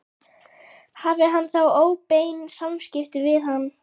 Hafði hann þá óbein samskipti við hann?